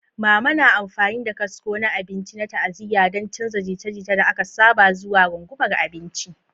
Mama na amfani da kasko na abinci na ta'aziyya don canza jita-jita da aka saba zuwa rungumar abinci.